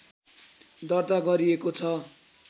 दर्ता गरिएको छ